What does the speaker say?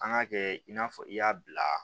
An k'a kɛ i n'a fɔ i y'a bila